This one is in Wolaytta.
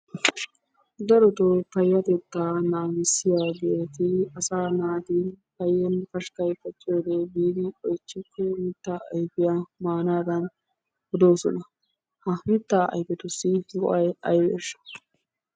Darotoo payatetta naagissiyaageeti asa naati paayanne pashkka pacciyoode biidi oychchiko mitta ayfiyaa maanadana odoosona. Ha mitta ayfetussi go"ay aybbeshsha?